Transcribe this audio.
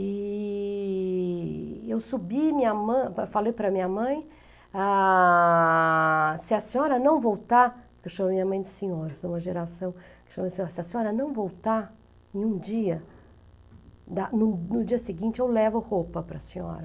E... eu subi, minha mã, fa falei para minha mãe, ah... se a senhora não voltar, eu chamo minha mãe de senhora, sou uma geração, se a senhora não voltar em um dia, no no dia seguinte eu levo roupa para a senhora.